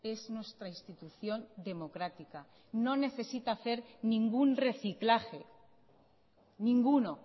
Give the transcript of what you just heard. es nuestra institución democrática no necesita hacer ningún reciclaje ninguno